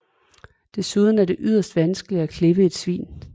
Desuden er det yderst vanskeligt at klippe et svin